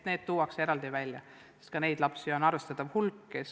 Need tuuakse eraldi välja, sest ka neid lapsi on arvestatav hulk.